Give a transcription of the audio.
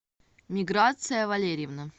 миграция валерьевна